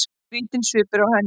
Skrýtinn svipur á henni.